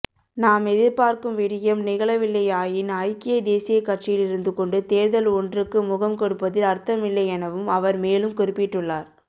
நாம் எதிர்பார்க்கும் விடயம் நிகழவில்லையாயின் ஐக்கிய தேசியக் கட்சியில் இருந்துகொண்டு தேர்தல் ஒன்றுக்கு முகம்கொடுப்பதில் அர்த்தமில்லையெனவும் அவர் மேலும் குறிப்பிட்டுள்ளார்